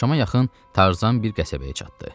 Axşama yaxın Tarzan bir qəsəbəyə çatdı.